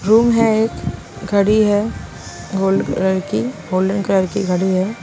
Room है एक घड़ी हैगोल्ड कलर की गोल्डन कलर की घड़ी है।